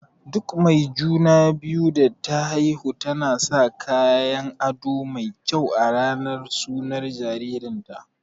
Duk mai juna-biyu da ta haihu tana sa kayan aɗo mai kyau a ranar sunan jaririn ta.